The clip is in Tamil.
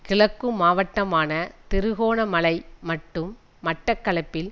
கிழக்கு மாவட்டமான திருகோணமலை மற்றும் மட்டக்களப்பில்